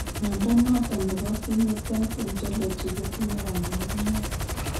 Mnyondo noton nebo Phenotype Ontology kotinye kabaruniak